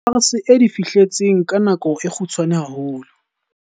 SARS e di fihletseng ka nako e kgutshwanyane haholo.